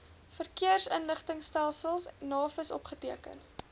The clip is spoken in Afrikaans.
verkeersinligtingstelsel navis opgeteken